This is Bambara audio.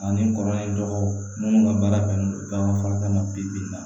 Ani kɔrɔlen dɔgɔ minnu ka baara bɛnnen don bakɔlikalan bɛ bi la